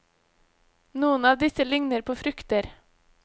Noen av disse ligner på frukter.